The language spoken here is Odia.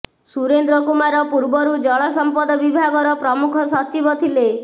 ସୁରେନ୍ଦ୍ର କୁମାର ପୂର୍ବରୁ ଜଳ ସଂପଦ ବିଭାଗର ପ୍ରମୂଖ ସଚିବ ଥିଲେ